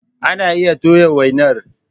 Ana iya toya wainar.